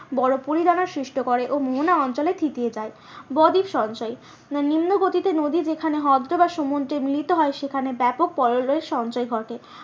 বড়ো পলিদানের সৃষ্ট করে ও মোহনা অঞ্চলে থিতিয়ে যায়। বদ্বীপ সঞ্চয় নিম্নগতিতে নদী যেখানে হ্রদ বা সমুদ্রে মিলিত হয় সেখানে ব্যাপক সঞ্চয় ঘটে